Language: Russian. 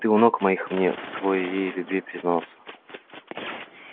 ты у ног моих мне в своей любви признался